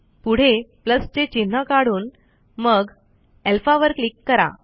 पुढे चे चिन्ह काढून मग alphaवर क्लिक करा